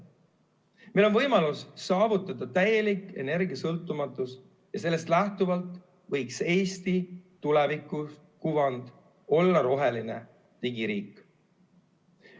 Meil on võimalus saavutada täielik energiasõltumatus ja sellest lähtuvalt võiks Eesti tulevikukuvand olla roheline digiriik.